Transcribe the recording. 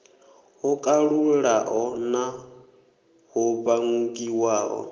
ho kalulaho no ḓo vhangiwaho